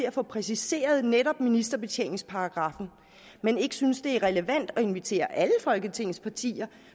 at få præciseret netop ministerbetjeningsparagraffen men ikke synes det er relevant at invitere alle folketingets partier